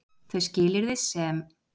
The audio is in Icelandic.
Þau skilyrði sem